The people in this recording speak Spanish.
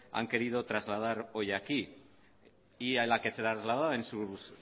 han querido trasladar hoy aquí y a la que se la trasladaba en sus